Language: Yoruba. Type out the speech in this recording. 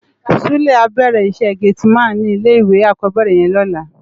Sule á bèrè iṣè géti man ni ilé iwé ákòbèrè yèn lòlá